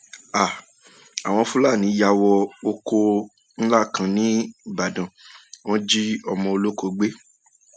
um àwọn fúlàní yà wọ ọkọ um ńlá kan nìbàdàn wọn jí ọmọ ọlọkọ gbé